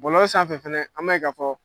Bɔlɔlɔ sanfɛ fɛnɛ an b'a ye ka fɔ